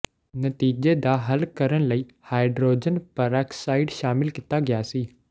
ਨਤੀਜੇ ਦਾ ਹੱਲ ਕਰਨ ਲਈ ਹਾਈਡਰੋਜਨ ਪਰਆਕਸਾਈਡ ਸ਼ਾਮਿਲ ਕੀਤਾ ਗਿਆ ਸੀ